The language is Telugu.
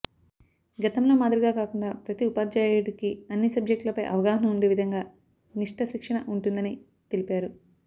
గతంలో మాదిరిగా కాకుండా ప్రతి ఉపాధ్యాయుడికి అన్ని సబ్జెక్టులపై అవగాహన ఉండే విధంగా నిష్ట శిక్షణ ఉంటుందని తెలిపారు